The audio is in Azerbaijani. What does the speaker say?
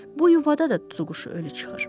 Bu yuvada da tutuquşu ölü çıxır.